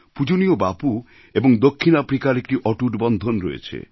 পূজনীয় বাপু এবং দক্ষিণ আফ্রিকার একটি অটুট বন্ধন রয়েছে